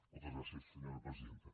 moltes gràcies senyora presidenta